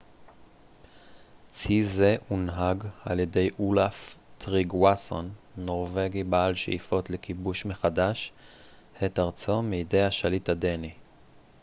צי זה הונהג על ידי אולאף טריגוואסון נורווגי בעל שאיפות לכיבוש מחדש את ארצו מידי השליט הדני